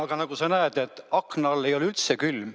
Aga nagu sa näed, akna all ei ole üldse külm.